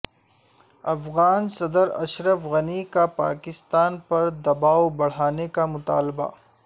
افغان صدر اشرف غنی کا پاکستان پر دباو بڑھانے کا مطالبہ